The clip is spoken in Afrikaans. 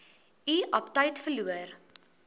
u aptyt verloor